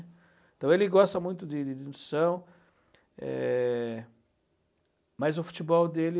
Então ele gosta muito de de de nutrição, é mas o futebol dele...